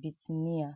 Bitinia.